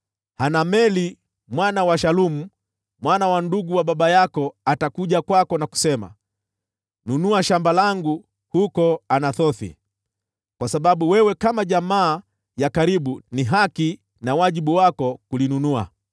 Hanameli mwana wa Shalumu mjomba wako atakuja kwako na kusema, ‘Nunua shamba langu huko Anathothi, kwa sababu wewe kama jamaa ya karibu ni haki na wajibu wako kulinunua.’